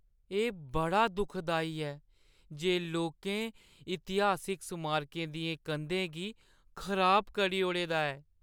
एह् बड़ा दुखदाई ऐ जे लोकें इतिहासिक स्मारकें दियें कंधें गी खराब करी ओड़े दा ऐ।